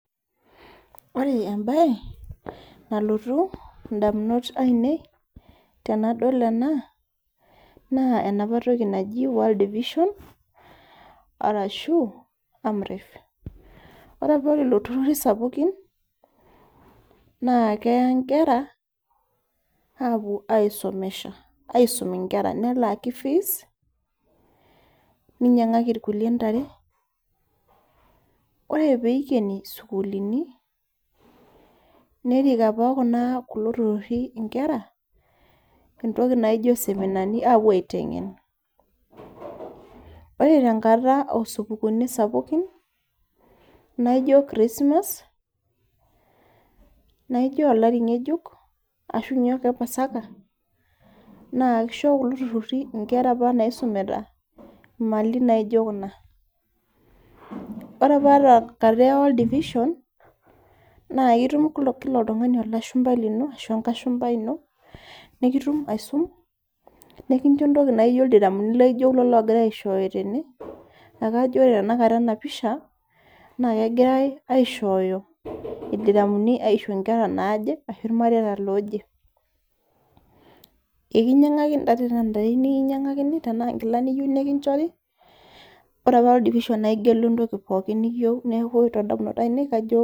Ore embaye nalotu indamunot ainei tenadol ena naa enapa toki naji world vision arashu AMREF ore apa lelo turruri sapukin naa keya inkera aapuo aisomesha aisum inkera nelaaki fees ninyiang'aki irkulie intare ore pikeni isukulini nerik apa kuna kulo turruri inkera entoki naijio iseminani aapuo aiteng'en ore tenkata osupukuni sapukin naijo christmas naijo olari ng'ejuk ashu inye ake pasaka naa kisho kulo turruri inkera apa naisumita imali naijo kuna ore apa tenkata e world vision naa itum kil kula oltung'ani olashumpai lino ashu enkashumpai ino nekitum aisum nekincho entoki naijo ildiramuni laijo kulo logirae aishooyo tene ekajo ore tenakata ena pisha naa kegirae aishooyo idiramuni aisho inkera naaje ashu irmareita looje ekinyang'aki intare tenaa intare iyieu nikinyiang'akini tenaa inkilani iyieu nekinchori ore world vision naa igelu entoki pookin niyieu neeku tondamunot ainei kajo.